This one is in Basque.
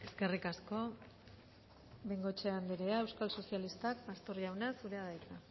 eskerrik asko bengoechea anderea euskal sozialistak pastor jauna zurea da hitza